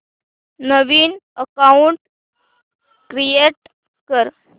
नवीन account create कर